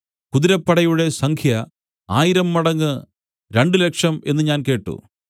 കുതിരപ്പടയുടെ സംഖ്യ ആയിരം മടങ്ങ് രണ്ടുലക്ഷം എന്നു ഞാൻ കേട്ട്